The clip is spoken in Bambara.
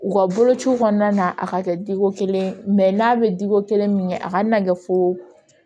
U ka bolociw kɔnɔna na a ka kɛ diko kelen n'a bɛ diko kelen min kɛ a kana kɛ fo